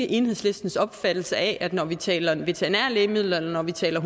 enhedslistens opfattelse af at det når vi taler om veterinære lægemidler og vi taler